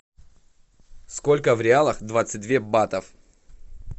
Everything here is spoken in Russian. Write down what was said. сколько в реалах двадцать две батов